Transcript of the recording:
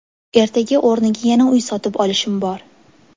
Ertaga o‘rniga yana uy sotib olishim bor.